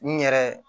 N yɛrɛ